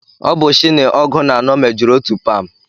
Ọ bụ shini ọgụ na anọ mejuru otu pam